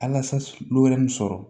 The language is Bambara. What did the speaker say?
sɔrɔ